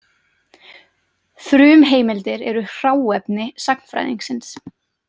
Frumheimildir eru „hráefni“ sagnfræðingsins.